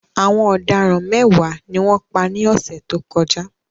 Àwọn ọ̀daràn mẹ́wàá ni wọ́n pa ní ọ̀sẹ̀ tó kọjá.